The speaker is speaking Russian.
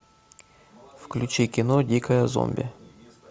включи кино дикое зомби